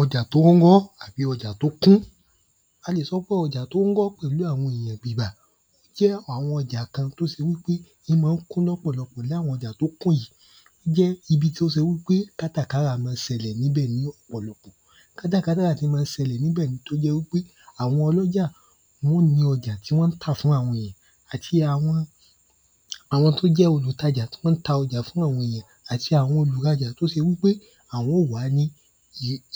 Ọjà t’ó rọ́ àbí ọjà t’ó kún jẹ́ àwọn ọjà kan t’ó se wí pé ín má ń kún lọ́pọ̀lọpọ̀ l’áwọn ọjà t’ó kún yìí jẹ́ ibi t’ó se wí pé kátàkárà má ń sẹlẹ̀ n’íbẹ̀ ní ọ̀pọ̀lọpọ̀ Kátàkárà tí má ń sẹlẹ̀ n’íbẹ̀ un t’ó jẹ́ wí pé àwọn ọlọ́jà wọ́n ó ni ọjà tí wón tà fún àwọn èyàn àti àwọn àwọn t’ó jẹ́ olùtajà tí wọ́n ta ọajà fún àwọn èyàn àti àwọn olùrajà t’ó se wí pé àwọn ó wá ní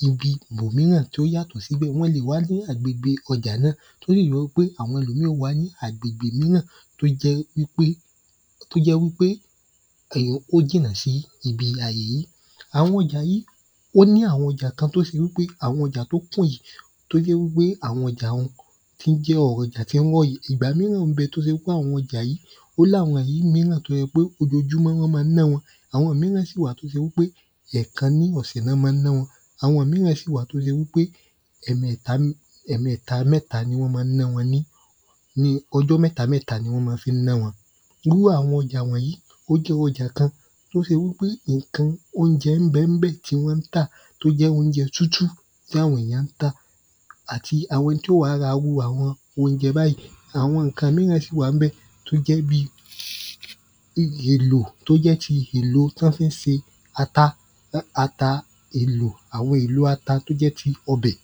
ibi ‘bòmíràn t’ó yàtọ̀ síbẹ̀. Wọ́n lè wá ní agbègbè ọjà náà t’ó yẹ́ wí pé àwọn ẹlòmíì ó wá ní agbègbè míràn t’ó jẹ́ wí pé ó jìnà s’íbi àyè yí ó ní àwọn ọjà kan t’ó se wí pé àwọn ọjà t’ó kún yí t’ó jẹ́ wí pé àwọn ọjà un tí ń jẹ́ ọjà tí ń rọ́ yí ìgbà míràn ń bẹ t’ó se pé àwọn ọjà yí ó l’áwọn ìlú míràn t’ó yẹ pé ojojúmọ́ wọ́n má ń ná wọn. Àwọn míràn sì wà t’ó se wí pé ẹ̀kan ni wọ́n má ń ná wọn. Àwọn míràn sì wà t’ó se pé ọjọ́ mẹ́ta mẹ́ta ni wọ́n ma fí ń ná wọn Irú àwọn ọjà wọ̀nyí ó jẹ́ ọjà kan t’ó se wí pé ǹkan óunje ń bẹ bẹ̀ tí wọ́n tà. T’ó jẹ́ óunjẹ tútù t’á àwọn èyàn ń tà. Àti àwọn ẹni t’ó wá ra ‘rú àwọn óunjẹ báyí. Àwọn ǹkan míràn sì wà ń bẹ̀ t’ó jẹ́ bi èlò t’ó jẹ́ ti èlo t’ọ́ fí ń se ata èlò, àwọn èlò ata t’ó jẹ́ ti ọbẹ̀.